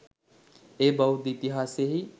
එය බෞද්ධ ඉතිහාසයෙහි